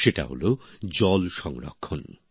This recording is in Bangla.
সেটা হলো জল সংরক্ষণ